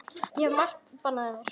Ég hef margoft bannað þér.